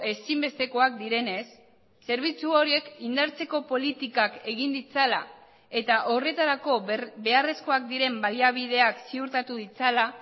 ezinbestekoak direnez zerbitzu horiek indartzeko politikak egin ditzala eta horretarako beharrezkoak diren baliabideak ziurtatu ditzala